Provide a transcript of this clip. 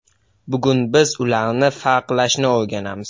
Bugun biz ularni farqlashni o‘rganamiz.